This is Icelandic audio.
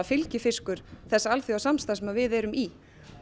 fylgifiskur þess alþjóðlega samstarfs sem við erum í